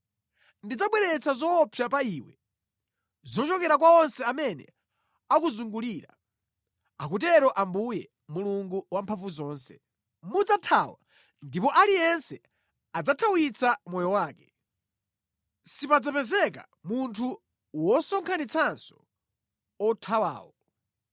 Ndidzabweretsa zoopsa pa iwe zochokera kwa onse amene akuzungulira,” akutero Ambuye, Mulungu Wamphamvuzonse. “Mudzathawa, ndipo aliyense adzathawitsa moyo wake. Sipadzapezeka munthu wosonkhanitsanso othawawo.